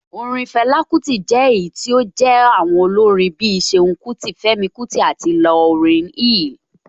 Orin Fela Kuti jẹ́ èyí tí ó jé àwọn olórin bí i Ṣeun Kuti, Femi Kuti àti Lauryn Hill.